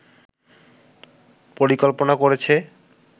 পরিকল্পনা করেছে